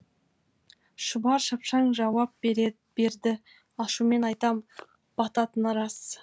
шұбар шапшаң жауап берді ашумен айтам бататыны рас